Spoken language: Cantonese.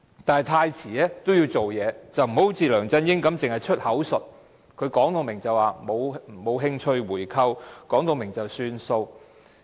但是，太遲也要做些事，不要好像梁振英般只是出口術，明言沒有興趣回購，然後便不了了之。